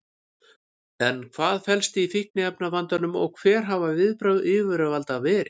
En hvað felst í fíkniefnavandanum og hver hafa viðbrögð yfirvalda verið?